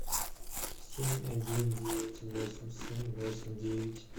семь один девять восемь семь восемь девять